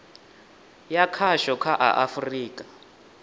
ya khasho kha a afurika